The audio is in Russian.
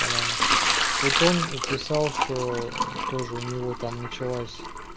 по-моему вот он писал что тоже у него там началась